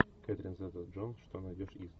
кэтрин зета джонс что найдешь из